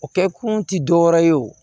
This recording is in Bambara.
O kɛ kun ti dɔwɛrɛ ye o